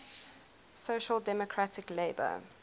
social democratic labour